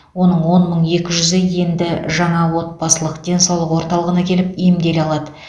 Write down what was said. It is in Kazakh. оның он мың екі жүзі енді жаңа отбасылық денсаулық орталығына келіп емделе алады